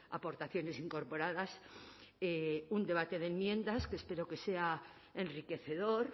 aportaciones incorporadas un debate de enmiendas que espero que sea enriquecedor